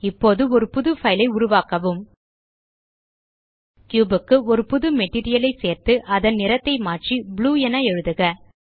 இப்போது ஒரு புது பைல் ஐ உருவாக்கவும் கியூப் க்கு ஒரு புது மெட்டீரியல் ஐ சேர்த்து அதன் நிறத்தை மாற்றி ப்ளூ என எழுதுக